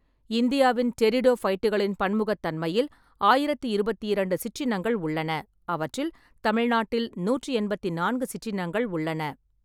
இந்தியாவின் டெரிடோஃபைட்டுகளின் பன்முகத்தன்மையில் ஆயிரத்தி இருபத்தி இரண்டு சிற்றினங்கள் உள்ளன. அவற்றில் தமிழ்நாட்டில் நூற்றி எண்பத்தி நான்கு சிற்றினங்கள் உள்ளன.